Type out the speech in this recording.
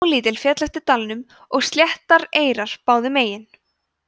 á lítil féll eftir dalnum og sléttar eyrar báðum megin